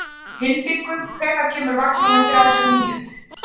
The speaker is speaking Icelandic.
Hildingur, hvenær kemur vagn númer þrjátíu og níu?